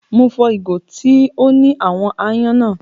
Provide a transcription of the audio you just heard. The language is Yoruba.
Mo fọ́ ìgò tó ní àwọn aáyán náà.